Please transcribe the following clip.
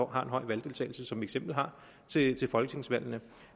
har en høj valgdeltagelse som eksempel har til til folketingsvalgene